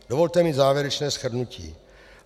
Dovolte mi závěrečné shrnutí: